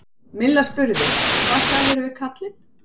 Milla spurði: Og hvað sagðirðu við karlinn?